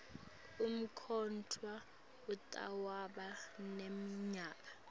umkhetfwa utawuba neminyaka